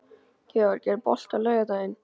Georg, er bolti á laugardaginn?